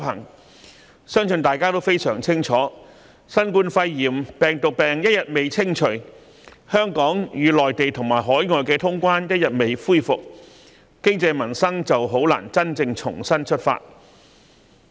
我相信大家均非常清楚，新冠肺炎病毒病一日未清除，香港與內地及海外通關的安排一日未能恢復，經濟民生便難以真正重新出發。